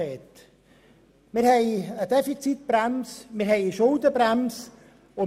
Wir haben eine Defizitbremse, und wir haben eine Schuldenbremse.